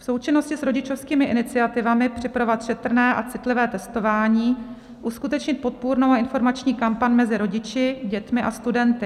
V součinnosti s rodičovskými iniciativami připravovat šetrné a citlivé testování, uskutečnit podpůrnou a informační kampaň mezi rodiči, dětmi a studenty.